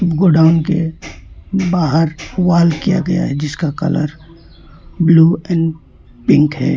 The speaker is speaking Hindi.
गोदाम के बाहर वॉल किया गया है जिसका कलर ब्लू एंड पिंक है।